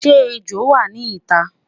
shey ẹjọ wà nì ita?